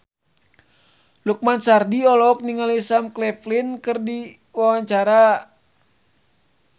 Lukman Sardi olohok ningali Sam Claflin keur diwawancara